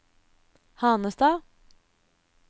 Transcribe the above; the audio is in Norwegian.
Hanestad